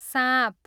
साँप